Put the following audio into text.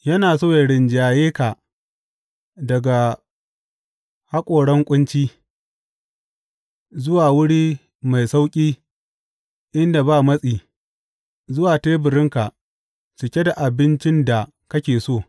Yana so yă rinjaye ka daga haƙoran ƙunci, zuwa wuri mai sauƙi inda ba matsi zuwa teburinka cike da abincin da kake so.